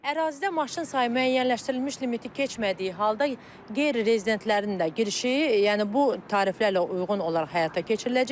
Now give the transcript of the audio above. Ərazidə maşın sayı müəyyənləşdirilmiş limiti keçmədiyi halda qeyri-rezidentlərin də girişi, yəni bu tariflərlə uyğun olaraq həyata keçiriləcək.